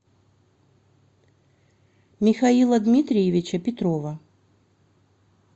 михаила дмитриевича петрова